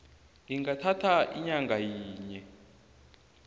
ingathatha inyanga yinye